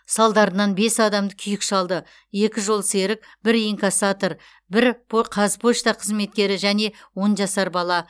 салдарынан бес адамды күйік шалды екі жолсерік бір инкассатор бір қазпошта қызметкері және он жасар бала